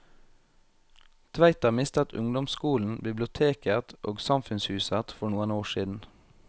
Tveita mistet ungdomsskolen, biblioteket og samfunnshuset for noen år siden.